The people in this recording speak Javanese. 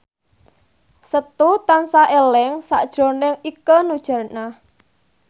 Setu tansah eling sakjroning Ikke Nurjanah